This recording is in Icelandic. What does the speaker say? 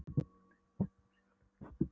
Landið er kjarrivaxið allt um kring.